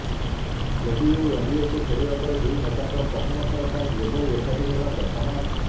JDU ଏନ୍ଡିଏକୁ ଫେରିବା ପରେ ଦୁଇ ନେତା ପ୍ରଥମ ଥର ପାଇଁ ଏଭଳି ଏକାଠି ହେବା ପ୍ରଥମ